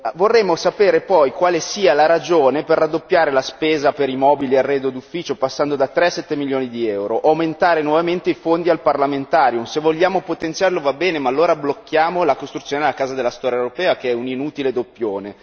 Vorremmo sapere poi quale sia la ragione per raddoppiare la spesa per i mobili arredo d'ufficio, passando a 3 a 7 milioni di euro o aumentare nuovamente i fondi al Parlamentarium, se vogliamo potenziarlo va bene, ma allora blocchiamo la costruzione della Casa della storia europea che è un inutile doppione.